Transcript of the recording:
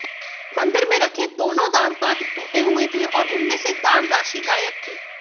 मंदिर में रखे दोनों दानपात्र टूटे हुए थे और उनमें से दानराशि गायब थी